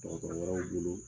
Dɔgrɔrɔ wɛrɛw bolo.